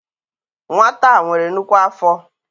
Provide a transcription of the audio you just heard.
Nwata a nwere nnukwu afọ.